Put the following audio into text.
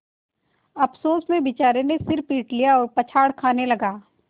अफसोस में बेचारे ने सिर पीट लिया और पछाड़ खाने लगा